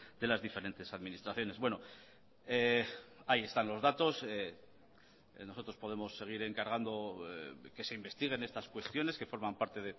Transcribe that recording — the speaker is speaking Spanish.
de las diferentes administraciones bueno ahí están los datos nosotros podemos seguir encargando que se investiguen estas cuestiones que forman parte